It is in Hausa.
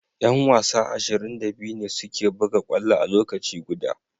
Yan wasa ashirin da biyu ne suke buga kwallo a lokaci guda.